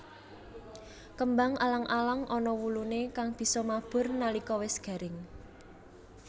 Kembang alang alang ana wuluné kang bisa mabur nalika wis garing